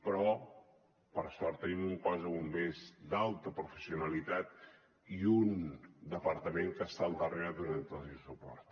però per sort tenim un cos de bombers d’alta professionalitat i un departament que hi està al darrere donantli suport